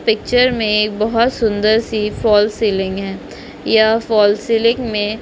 picture में एक बहत सुंदर सी फल्स सीलिंग है इया फल्स सीलिंग में--